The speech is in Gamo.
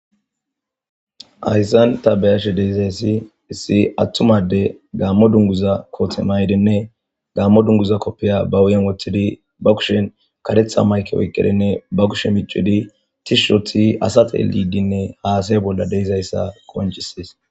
ayssan ta beyashe deizayssi issi attumade gaammo dunguza koothe maydenne gaammo dunguza koppiya ba uyen woththidi ba kushen katetha mayke oyqqedinne ba kushe micidi tishshothi asatedidinne haasay bolla deizayssa qonchisees